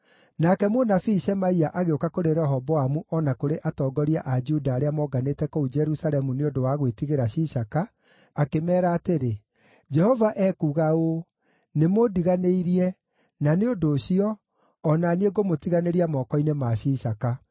Nake mũnabii Shemaia agĩũka kũrĩ Rehoboamu o na kũrĩ atongoria a Juda arĩa moonganĩte kũu Jerusalemu nĩ ũndũ wa gwĩtigĩra Shishaka, akĩmeera atĩrĩ, “Jehova ekuuga ũũ: ‘Nĩmũndiganĩirie; na nĩ ũndũ ũcio, o na niĩ ngũmũtiganĩria moko-inĩ ma Shishaka.’ ”